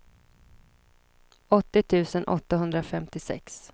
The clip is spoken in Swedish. åttio tusen åttahundrafemtiosex